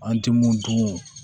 An tɛ mun dun